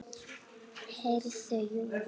Heyrðu, jú.